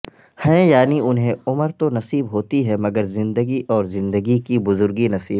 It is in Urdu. ہیں یعنی انھیں عمر تو نصیب ہوتی ہے مگر زندگی اور زندگی کی بزرگی نصیب